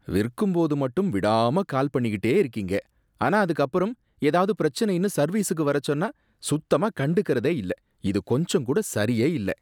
விற்கும்போது மட்டும் விடாம கால் பண்ணிகிட்டே இருக்கீங்க, ஆனா அதுக்கு அப்பறம் ஏதாவது பிரச்சனைன்னு சர்வீஸுக்கு வரச்சொன்னா சுத்தமா கண்டுக்கறதே இல்ல, இது கொஞ்சம் கூட சரியே இல்ல